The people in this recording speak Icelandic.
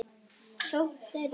sókn þeirra?